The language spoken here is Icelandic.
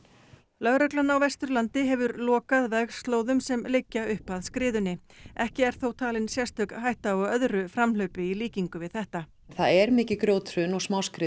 lögreglan á Vesturlandi hefur lokað vegslóðum sem liggja upp að skriðunni ekki er þó talin sérstök hætta á öðru framhlaupi í líkingu við þetta en það er mikið grjóthrun og